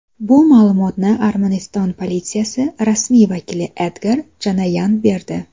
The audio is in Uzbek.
Bu ma’lumotni Armaniston politsiyasi rasmiy vakili Edgar Janoyan berdi.